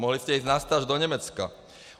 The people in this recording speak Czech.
Mohli jste jít na stáž do Německa.